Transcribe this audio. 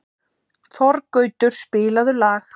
Þorgautur, spilaðu lag.